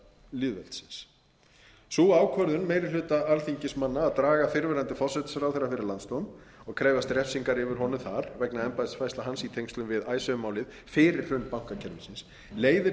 lýðveldisins sú ákvörðun meiri hluta alþingismanna að draga fyrrverandi forsætisráðherra fyrir landsdóm og krefjast refsingar yfir honum þar vegna embættisfærslna hans í tengslum við icesave málið fyrir hrun bankakerfisins leiðir